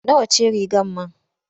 Nawa ce rigar man?